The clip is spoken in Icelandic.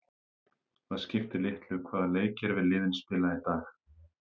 Það skiptir litlu hvaða leikkerfi liðin spila í dag.